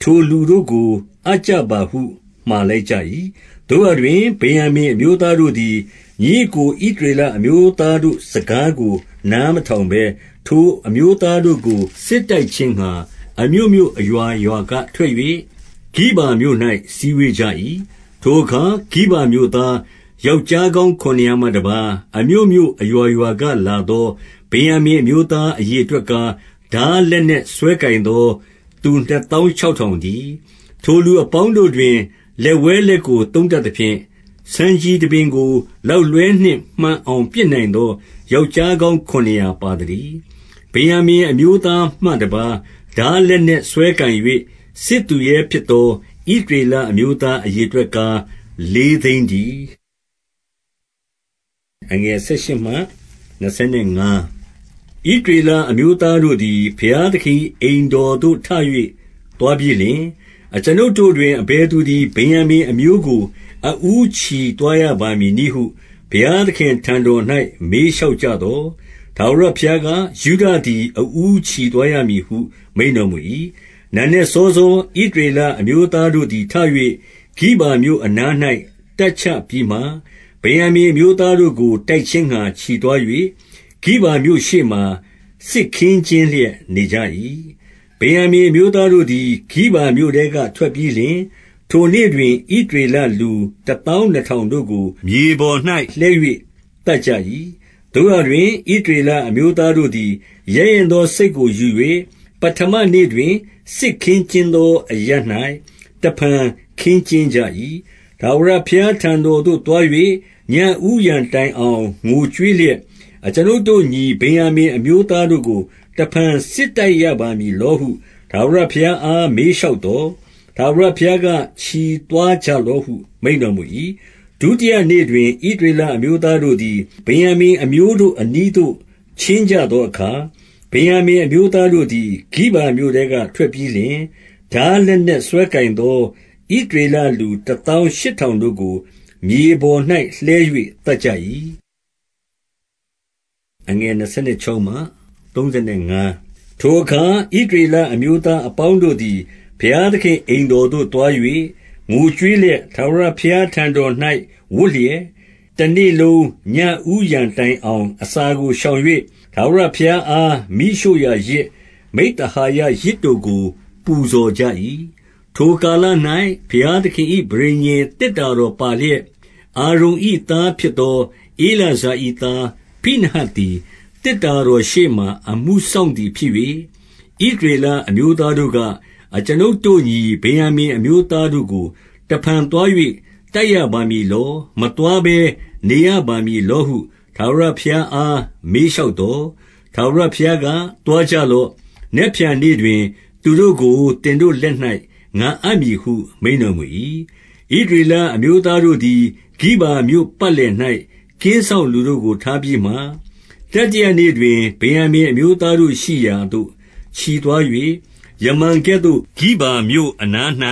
ထိုလူတို့ကိုအပ်ကြပါဟု မှာလိုက်ကြ၏။ သို့ရာတွင် ဗင်္ယာမိန် အမျိုးသားတို့သည်၊ ညီအစ်ကို ဣသရေလအမျိုးသားတို့စကားကို နားမထောင်ဘဲ၊ 14 ထိုအမျိုးသားတို့ကို စစ်တိုက်ခြင်းငှါ၊ အမြို့မြို့အရွာရွာက ထွက်၍ ဂိဗာမြို့၌ စည်းဝေးကြ၏။- 15 ထိုအခါ ဂိဗာမြို့သား ယောက်ျားကောင်း ခုနစ်ရာမှတပါး အမြို့မြို့အရွာရွာက လာသော ဗင်္ယာ မိန် အမျိုးသား အရေအတွက်ကား၊ ထားလက်နက်စွဲကိုင်သောသူ နှစ်သောင်းခြောက်ထောင်တည်း။ 16 ထိုလူအပေါင်းတို့တွင် လက်ဝဲလက်ကို သုံးတတ်သဖြင့်၊ ဆံခြည်တပင်ကို လောက်လွှဲနှင့်မှန်အောင် ပစ်နိုင်သော ယောက်ျားကောင်း ခုနှစ်ရာပါသတည်း။ 17 ဗင်္ယာမိန်အမျိုးသားမှတပါး ထားလက်နက်စွဲကိုင်၍ စစ်သူရဲဖြစ်သော ဣသရေလအမျိုးသား အရေ အတွက်ကား လေးသိန်းတည်း။ 18 ဣသရေလ အမျိုးသားတို့သည် ဘုရားသခင်၏ အိမ်တော်သို့ ထ၍ သွားပြီးလျှင်၊ အကျွန်ုပ်တို့တွင် အဘယ်သူသည် ဗင်္ယာမိန် အမျိုးကို အဦး ချီသွားရပါမည်နည်းဟု ဘုရားသခင်ထံတော်၌ မေးလျှောက် ကြသော်၊ ထာဝရဘုရားက၊ ယုဒသည် အဦးချီသွားရမည်ဟု မိန့်တော်မူ၏။ 19 နံနက်စောစော ဣသရေလအမျိုးသားတို့သည် ထ၍ ဂိဗာမြို့အနား၌ တပ်ချပြီးမှ၊ 20 ဗင်္ယာမိန်အမျိုးသားတို့ကို တိုက်ခြင်းငှါ ချီသွား၍ ဂိဗာမြို့ရှေ့မှာ စစ်ခင်းကျင်းလျက် နေကြ၏။ 21 ဗင်္ယာမိန်အမျိုးသားတို့သည် ဂိဗာမြို့ထဲက ထွက်ပြီးလျှင်၊ ထိုနေ့တွင် ဣသရေလ လူတသောင်း နှစ်ထောင်တို့ကို မြေပေါ်မှာ လှဲ၍ သတ်ကြ၏။ 22 သို့ရာတွင် ဣသရေလအမျိုးသားတို့သည် ရဲရင့်သောစိတ်ကိုယူ၍ ပဌမနေ့တွင် စစ်ခင်းကျင်းသော အရပ်၌ တဖန်ခင်းကျင်းကြ၏။ 23 ထာဝရဘုရားထံတော်သို့ သွား၍ ညဦးယံတိုင်အောင် ငိုကြွေးလျက်၊ အကျွန်ုပ်တို့ညီ ဗင်္ယာမိန်အမျိုး သားတို့ကို တဖန်စစ်တိုက်ရပါမည်လောဟု ထာဝရဘုရားအား မေးလျှောက်သော်၊ ထာဝရဘုရားက ချီသွားကြလော့ဟု မိန့်တော်မူ၏။ 24 ဒုတိယနေ့တွင် ဣသရေလအမျိုးသားတို့သည် ဗင်္ယာမိန်အမျိုးတို့အနီးသို့ ချဉ်းကြသောအခါ၊ 25 ဗင်္ယာမိန် အမျိုးသားတို့သည် ဂိဗာမြို့ထဲက ထွက်ပြီးလျှင်၊ ထားလက်နက်စွဲကိုင်သော ဣသရေလ လူတသောင်းရှစ်ထောင်တို့ကို မြေပေါ်၌ လှဲ၍ သတ်ကြ၏။ 26 ထိုအခါ ဣသရေလအမျိုးသား အပေါင်းတို့သည် ဘုရားသခင်အိမ်တော်သို့သွား၍ ငိုကြွေးလျက်၊ ထာဝရဘုရားထံတော်၌ ဝပ်လျက်၊ တနေ့လုံး ညဦးယံတိုင်အောင် အစာကို ရှောင်၍ ထာဝရဘုရားအား မီးရှို့ရာယဇ်၊ မိဿဟာယယဇ်တို့ကို ပူဇော်ကြ၏။ 27 ထိုကာလ၌ ဘုရားသခင်၏ ပဋိညာဉ် သေတ္တာတော်ပါလျက်၊ အာရုန်၏သားဖြစ်သော ဧလာဇာ၏ သား ဖိနဟတ်သည်၊ သေတ္တာတော်ရှေ့မှာ အမှုစောင့်သည် ဖြစ်၍၊- 28 ဣသရေလအမျိုးသားတို့က၊ အကျွန်ုပ်တို့ ညီဗင်္ယာမိန်အမျိုးသားတို့ကို တဖန်သွား၍ တိုက်ရပါမည်လော၊ မသွားဘဲနေရပါမည်လောဟု ထာဝရဘုရားအား မေးလျှောက်သော်၊ ထာဝရ ဘုရားက သွားကြလော့။ နက်ဖြန်နေ့တွင် သူတို့ကို သင်တို့လက်၌ ငါအပ်မည်ဟု မိန့်တော်မူ၏။ 29 ဣသရေလအမျိုးသားတို့သည် ဂိဗာမြို့ပတ်လည်၌ ကင်းစောင့်လူတို့ကို ထားပြီးမှ၊ 30 တတိယနေ့တွင် ဗင်္ယာမိန် အမျိုးသားတို့ရှိရာသို့ ချီသွား၍၊ ယမန်ကဲ့သို့ ဂိဗာမြို့အနား၌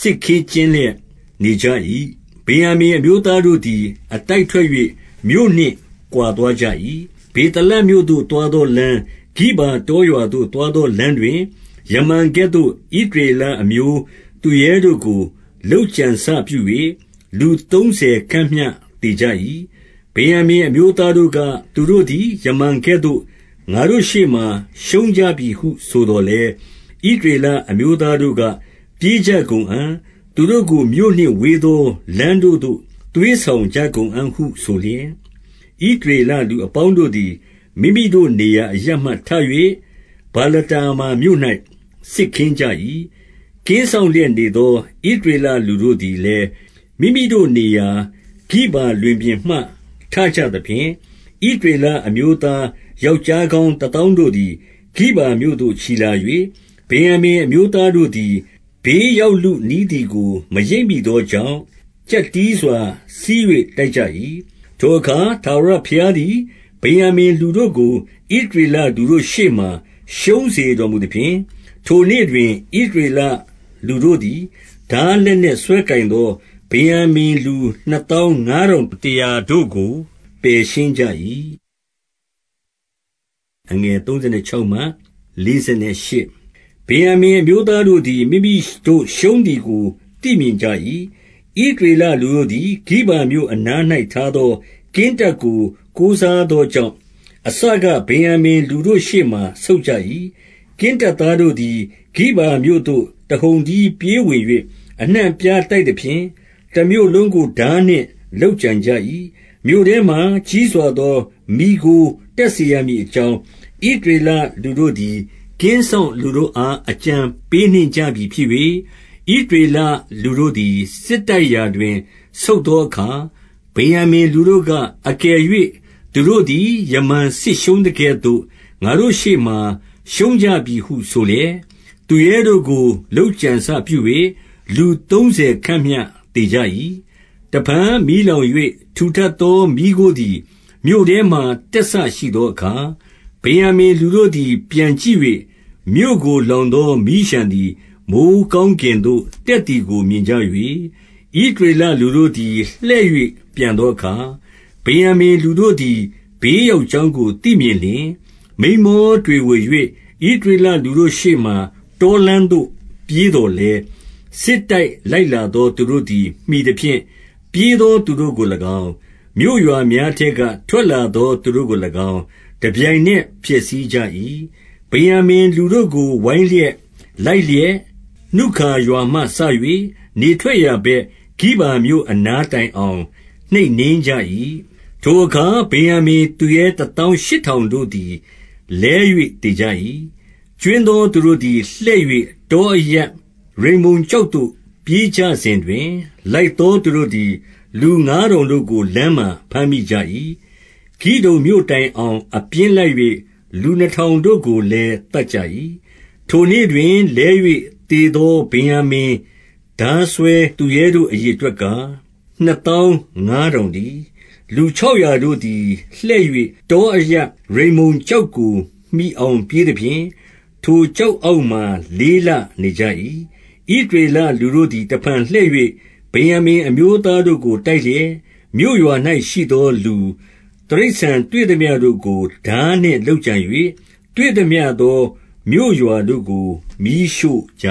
စစ်ခင်းကျင်း လျက် နေကြ၏။ 31 ဗင်္ယာမိန် အမျိုးသားတို့သည် အတိုက်ထွက်၍ မြို့နှင့်ကွာသွားကြ၏။ ဗေသလမြို့သို့ သွားသောလမ်း၊ ဂိဗာတောရွာသို့ သွားသောလမ်းတွင် ယမန်ကဲ့သို့ ဣသရေအလအမျိုးသူရဲတို့ကို လုပ်ကြံစပြု၍ လူသုံးဆယ်ခန့်မျှ သေကြ၏။ 32 ဗင်္ယာမိန်အမျိုးသားတို့က၊ သူတို့သည် ယမန်ကဲ့သို့ ငါတို့ရှေ့မှာ ရှုံးကြပြီဟု ဆိုသော်လည်း၊ ဣသရေလ အမျိုးသားတို့က ပြေးကြကုန်အံ့၊ သူတို့ကို မြို့နှင့်ဝေးသော လမ်းတို့သို့ သွေးဆောင်ကြကုန်အံ့ဟု ဆိုလျက်၊ 33 ဣသရေလလူအပေါင်းတို့သည် မိမိတို့ နေရာအရပ်မှထ၍ ဗာလတာမာမြို့၌ စစ်ခင်းကြ၏။ ကင်း စောင့်လျက်နေသော ဣသရေလလူတို့သည်လည်း မိမိတို့နေရာ ဂိဗာလွင်ပြင်မှ ထကြသဖြင့်၊ 34 ဣသရေလအမျိုးသား ယောက်ျားကောင်း တသောင်းတို့သည် ဂိဗာမြို့သို့ ချီလာ၍၊ ဗင်္ယာမိန် အမျိုး သားတို့သည် ဘေးရောက်လုနီးသည်ကို မရိပ်မိသောကြောင့်၊ ကျပ်တည်းစွာ ဆီး၍ တိုက်ကြ၏။ 35 ထိုအခါ ထာဝရဘုရားသည် ဗင်္ယာမိန်လူတို့ကို ဣသရေလလူတို့ရှေ့မှာ ရှုံးစေတော်မူသဖြင့်၊ ထို့နေ့ တွင် ဣသရေလ လူတို့သည် ထားလက်နက်စွဲကိုင်သော ဗင်္ယာမိန်လူနှစ်သောင်းငါးထောင်တရာ တို့ကို ပယ်ရှင်းကြ၏။ 36 ဗင်္ယာမိန်အမျိုးသားတို့သည် မိမိတို့ ရှုံးသည်ကို သိမြင်ကြ၏။ ဣသရေလူတို့သည်၊ ဂိဗာမြို့အနား၌ ထားသော ကင်းတပ်ကို ကိုးစားသောကြောင့်၊ အစက ဗင်္ယာမိန်လူတို့ရှေ့မှာ ဆုတ်ကြ၏ 37 ကင်းတပ်သားတို့သည် ဂိဗာမြို့သို့ တဟုန်တည်းပြေးဝင်၍ အနှံ့အပြား တိုက်သဖြင့် တမြို့လုံးကို ထားနှင့်လုပ်ကြံကြ၏။ 38 မြို့ထဲမှာ ကြီးစွာသော မီးခိုးတက်စေရမည်အကြောင်း ဣသရေလလူတို့သည် ကင်းစောင့်လူတို့အား အကြံပေးနှင့်ကြပြီဖြစ်၍၊ 39 ဣသရေလလူတို့သည် စစ်တိုက်ရာတွင် ဆုတ်သောအခါ၊ ဗင်္ယာမိန်လူတို့က၊ အကယ်၍ သူတို့သည် ယမန်စစ်ရှုံးသကဲ့သို့ ငါတို့ရှေ့မှာ ရှုံးကြပြီဟု ဆိုလျက် သူရဲတို့ကို လုပ်ကြံစပြု၍ လူသုံးဆယ်ခန့်မျှ သေကြ၏။ 40 တဖန် မီးလောင်၍ ထူထပ်သော မီးခိုးသည် မြို့ထဲမှာ တက်စရှိသောအခါ၊ ဗင်္ယာမိန်လူတို့သည် ပြန်ကြည့်၍ မြို့ကိုလောင်သော မီးလျှံသည် မိုဃ်းကောင်းကင်သို့ တက်သည်ကို မြင်ကြ၍၊ 41 ဣသရေလလူတို့သည် လှည့်၍ ပြန်သောအခါ၊ ဗင်္ယာမိန်လူတို့သည် ဘေးရောက်ကြောင်းကို သိမြင်လျှင်၊- 42 မိန်းမောတွေဝေ၍ ဣသရေလလူတို့ရှေ့မှာ တောလမ်းသို့ ပြေးသော်လည်း၊ စစ်တိုက်လိုက်လာ သော သူတို့သည် မှီသဖြင့် ပြေးသော သူတို့ကို၎င်း၊ မြို့ရွာများထဲက ထွက်လာသောသူတို့ကို၎င်း၊ တပြိုင်နက်ဖျက်ဆီးကြ၏။ 43 ဗင်္ယာမိန်လူတို့ကို ဝိုင်းလျက်လိုက်လျက်၊ နုခါရွာမှစ၍ နေထွက်ရာဘက်၊ ဂိဗာမြို့အနားတိုင်အောင် နှိပ်နင်းကြ၏။ 44 ထိုအခါ ဗင်္ယာမိန်သူရဲ တသောင်းရှစ်ထောင်တို့သည် လဲ၍ သေကြ၏။ 45 ကြွင်းသော သူတို့သည် လှည့်၍ တောအရပ် ရိမ္မုန်ကျောက်သို့ ပြေးကြစဉ်တွင်၊ လိုက်သော သူတို့သည် လူငါးထောင်တို့ကို လမ်းမှာဖမ်းမိကြ၏။ ဂိဒုံမြို့တိုင်အောင် အပြင်းလိုက်၍ လူနှစ်ထောင်တို့ကိုလည်း သတ်ကြ၏။ 46 ထိုနေ့တွင် လဲ၍ သေသော ဗင်္ယာမိန် ထားစွဲသူရဲတို့ အရေအတွက်ကား၊ နှစ်သောင်းငါးထောင်တည်း။ 47 လူခြောက်ရာတို့သည် လှည့်၍ တောအရပ်ရိမ္မုန်ကျောက်ကို မှီအောင်ပြေးသဖြင့်၊ ထိုကျောက် အောက်မှာ လေးလနေကြ၏။ 48 ဣသရေလလူတို့သည် တဖန် လှည့်၍၊ ဗင်္ယာမိန်အမျိုးသားတို့ကို တိုက်လျက် မြို့ရွာ၌ ရှိသောလူ၊ တိရစ္ဆာန်တွေ့သမျှတို့ကို ထားနှင့်လုပ်ကြံ၍၊ တွေ့သမျှသော မြို့ရွာတို့ကို မီးရှို့ကြ